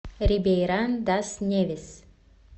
рибейран дас невис